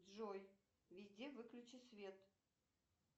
джой везде выключи свет